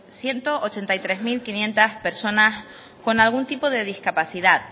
ciento ochenta y tres mil quinientos personas con algún tipo de discapacidad